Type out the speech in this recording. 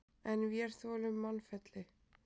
En vér þolum mannfelli.